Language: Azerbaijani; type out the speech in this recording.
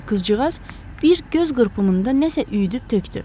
Qızcığaz bir göz qırpımında nəsə üyüdüb tökdü.